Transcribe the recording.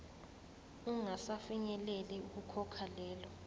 ungasafinyeleli ukukhokha lelo